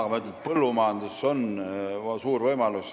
Aga ma ütlen, et põllumajandus on suur võimalus.